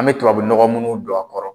An bɛ tubabu nɔgɔ munnu don a kɔrɔ